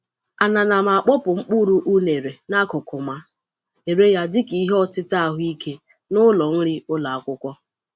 A na na m akpọpụ mkpụrụ unere n’akụkụ ma ere ya dị ka ihe ọtịta ahụike n’ụlọ nri ụlọ akwụkwọ.